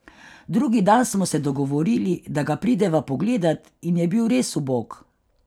Drugi dan smo se dogovorili, da ga prideva pogledat in je bil res ubog.